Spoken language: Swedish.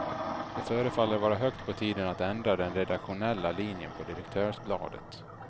Det förefaller vara högt på tiden att ändra den redaktionella linjen på direktörsbladet.